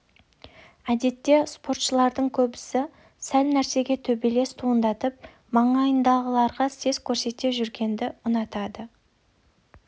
әдетте спортшылардың көбісі сәл нәрседен төбелес туындатып маңайындағыларға сес көрсете жүргенді ұнатады